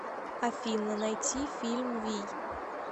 афина найти фильм вий